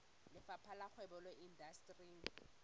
lefapheng la kgwebo le indasteri